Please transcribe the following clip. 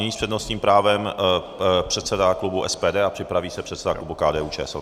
Nyní s přednostním právem předseda klubu SPD a připraví se předseda klubu KDU-ČSL.